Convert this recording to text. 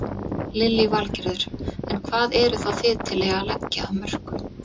Lillý Valgerður: En hvað eruð þá þið til í að leggja af mörkum?